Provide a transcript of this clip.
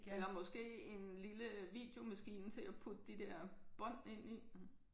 Eller måske en lille videomaskine til at putte de der bånd ind i